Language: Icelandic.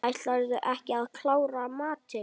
Ætlarðu ekki að klára matinn?